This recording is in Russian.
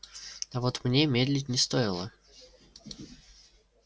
а вот мне медлить не стоило